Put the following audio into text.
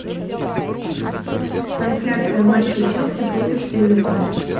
трансляция матча челси против эвертона